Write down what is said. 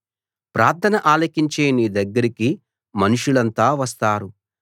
ప్రార్థన ఆలకించే నీ దగ్గరికి మనుషులంతా వస్తారు